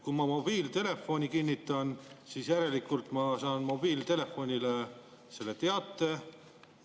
Kui ma kinnitan, siis järelikult ma saan mobiiltelefonile selle teate.